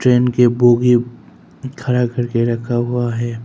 Train के bogie खड़ा करके रखा हुआ है।